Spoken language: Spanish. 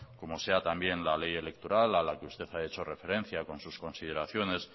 como sea también la ley electoral a la que usted ha hecho referencia con sus consideraciones